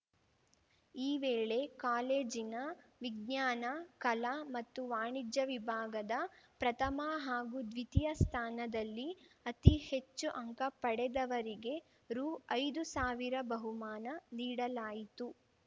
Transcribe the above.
ಈ ವೇಳೆ ಕಾಲೇಜಿನ ವಿಜ್ಞಾನ ಕಲಾ ಮತ್ತು ವಾಣಿಜ್ಯ ವಿಭಾಗದ ಪ್ರಥಮ ಹಾಗೂ ದ್ವಿತೀಯ ಸ್ಥಾನದಲ್ಲಿ ಅತಿ ಹೆಚ್ಚು ಅಂಕ ಪಡೆದವರಿಗೆ ರುಐದು ಸಾವಿರ ಬಹುಮಾನ ನೀಡಲಾಯಿತು